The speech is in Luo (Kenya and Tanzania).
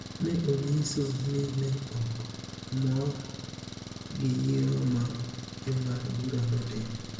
ne onyiso ni ne ok mor gi yiero ma Jong'ad bura notimo.